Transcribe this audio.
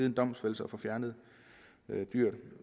en domfældelse og får fjernet dyret i